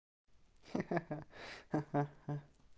ха-ха-ха